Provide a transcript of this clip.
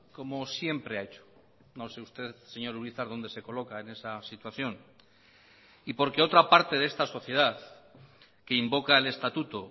como siempre ha hecho no sé usted señor urizar donde se coloca en esa situación y porque otra parte de esta sociedad que invoca el estatuto